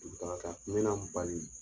Tun kan ka bali